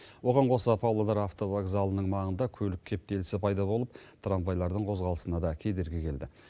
оған қоса павлодар автовокзалының маңында көлік кептелісі пайда болып трамвайлардың қозғалысына да кедергі келді